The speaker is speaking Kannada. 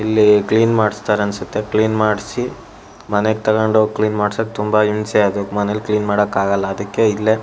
ಇಲ್ಲಿ ಕ್ಲೀನ್ ಮಾಡಿಸ್ತಾರನ್ಸುತ್ತೆ ಕ್ಲೀನ್ ಮಾಡ್ಸಿ ಮನೆಗ್ ತಕೊಂಡಿಹೋಗಿ ಕ್ಲೀನ್ ಮಾಡ್ಸೋದ್ ತುಂಬ ಹಿಂಸೆ ಅದು ಮನೇಲ್ ಕ್ಲೀನ್ ಮಾಡೋಕಾಗೋಲ್ಲ ಅಡ್ಡಕ್ಕೆ ಇಲ್ಲೇ--